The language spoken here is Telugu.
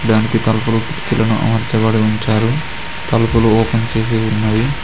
దానికి తలుపులు కిటికీలను అమర్చబడి ఉంచారు తలుపులు ఓపెన్ చేసి ఉన్నాయి.